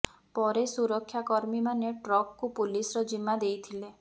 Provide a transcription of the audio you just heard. ପରେ ସୁରକ୍ଷା କର୍ମୀ ମାନେ ଟ୍ରକକୁ ପୁଲିସର ଜିମା ଦେଇଥିଲେ